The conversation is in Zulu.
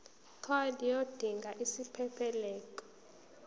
card yodinga isiphephelok